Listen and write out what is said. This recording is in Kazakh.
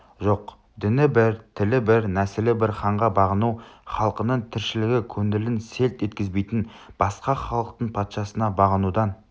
жоқ діні бір тілі бір нәсілі бір ханға бағыну халқыңның тіршілігі көңілін селт еткізбейтін басқа халықтың патшасына бағынудан